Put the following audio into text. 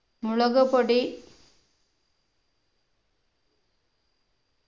മുളക് പൊടി